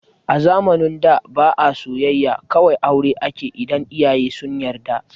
A zamanin da ba a soyayya, kawai aure akeyi idan iyaye sun yarda